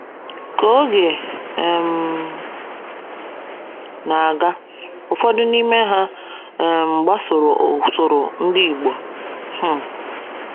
Ka oge um na - aga, ụfọdụ n’ime ha um gbasoro ụsoro ndi igbo. um